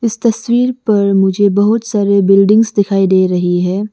इस तस्वीर पर मुझे बहुत सारे बिल्डिंग्स दिखाई दे रही है।